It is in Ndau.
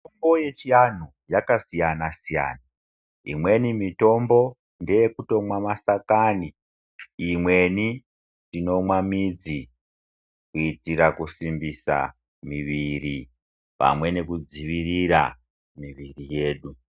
Mitombo yechianhu yakasiyana siyana. Imweni mitombo ngeyekutomwa masakani, imweni tinomwa midzi kuitira kusimbisa miviri pamwe nekudzivirira miviri yedu.